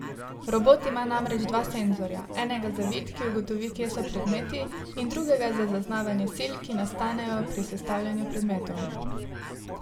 Robot ima namreč dva senzorja, enega za vid, ki ugotovi, kje so predmeti, in drugega za zaznavanje sil, ki nastanejo pri sestavljanju predmetov.